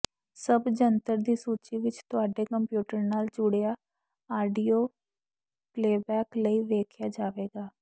ਸਭ ਜੰਤਰ ਦੀ ਸੂਚੀ ਵਿੱਚ ਤੁਹਾਡੇ ਕੰਪਿਊਟਰ ਨਾਲ ਜੁੜਿਆ ਆਡੀਓ ਪਲੇਅਬੈਕ ਲਈ ਵੇਖਾਇਆ ਜਾਵੇਗਾ